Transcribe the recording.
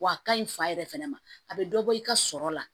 W'a ka ɲi fa yɛrɛ fana ma a bɛ dɔ bɔ i ka sɔrɔ la